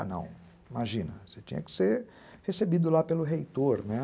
Ah, não, imagina, você tinha que ser recebido lá pelo reitor, né?